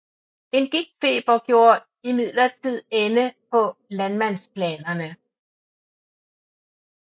En gigtfeber gjorde imidlertid ende på landmandsplanerne